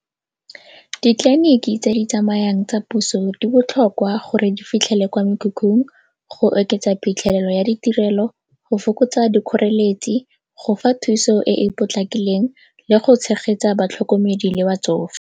Ditleliniki tse di tsamayang tsa puso di botlhokwa gore di fitlhele kwa mekhukhung go oketsa phitlhelelo ya ditirelo, go fokotsa dikgoreletsi, go fa thuso e e potlakileng le go tshegetsa batlhokomedi le batsofe.